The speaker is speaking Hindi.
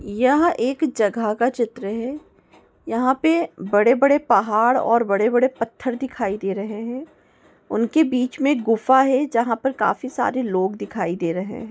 यह एक जगह का चित्र है यहाँ पे बड़े-बड़े पहाड़ और बड़े-बड़े पत्थर दिखाई दे रहे है उनके बीच मे गुफा है जहा पे काफी सारे लोग देखाई दे रहे है।